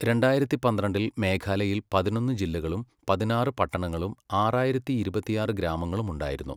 രണ്ടായിരത്തി പന്ത്രണ്ടിൽ മേഘാലയയിൽ പതിനൊന്ന് ജില്ലകളും പതിനാറ് പട്ടണങ്ങളും ആറായിരത്തി ഇരുപത്തിയാറ് ഗ്രാമങ്ങളും ഉണ്ടായിരുന്നു.